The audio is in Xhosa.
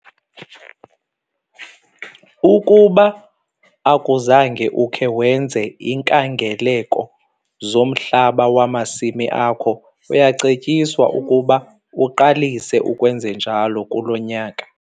Ukuba akuzange ukhe wenze iinkangeleko zomhlaba wamasimi akho, uyacetyiswa ukuba uqalise ukwenze njalo kulo nyaka.